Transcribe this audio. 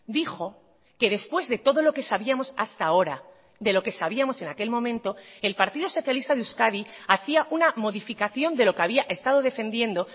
dijo que después de todo lo que sabíamos hasta ahora de lo que sabíamos en aquel momento el partido socialista de euskadi hacia una modificación de lo que había estado defendiendo